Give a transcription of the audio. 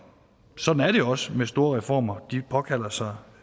sådan er det også med store reformer altså at de påkalder sig